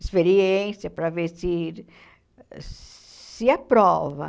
Experiência, para ver se se aprova.